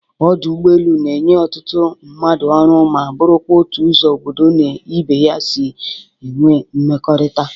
Ọdụ ụgbọelu na-enye ọtụtụ mmadụ ọrụ ma bụrụkwa otu ụzọ obodo na ibe ya si enwe nmekọrịta.